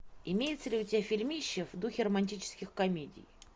имеется ли у тебя фильмище в духе романтических комедий